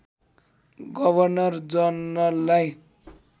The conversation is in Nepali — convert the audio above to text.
गवर्नर जनरललाई